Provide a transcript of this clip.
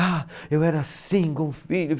Ah, eu era assim com o filho.